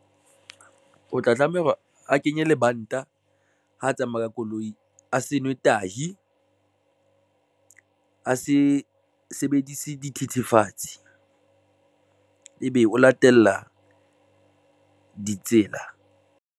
O tla tlameha hore a kenye lebanta ha tsamaya ka koloi, a se nwe tahi, a se sebedise dithethefatsi ebe o latela ditsela.